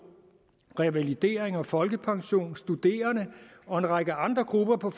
revalidering og folkepension samt studerende og en række andre grupper på